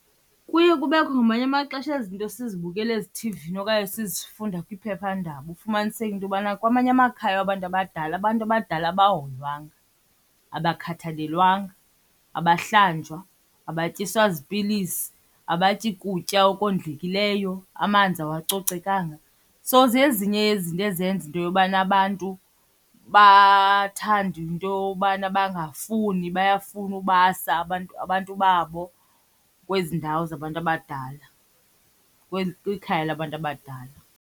Kuye kubekho ngamanye amaxesha ezi zinto sizibukela ezithivini okanye sizifunda kwiphephandaba ufumaniseke into yobana kwamanye amakhaya wabantu abadala abantu abadala abahoywanga, abakhathalelwanga, abahlanjwa, abatyiswa zipilisi, abatyi kutya okondlekileyo, amanzi awacocekanga. So zezinye yezinto ezenza into yobana abantu bathande into yobana bangafuni bayafuna ubasa abantu abantu babo kwezi ndawo zabantu abadala, kwikhaya labantu abadala.